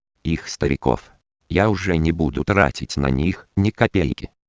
их стариков я уже не буду тратить на них ни капельки